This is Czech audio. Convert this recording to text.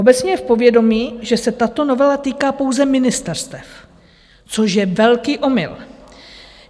Obecně je v povědomí, že se tato novela týká pouze ministerstev, což je velký omyl.